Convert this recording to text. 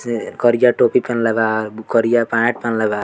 से करिया टोपी पहेनेल बा बु करिया पेंट पहेनेल बा।